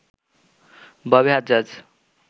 Bobby Hajjaj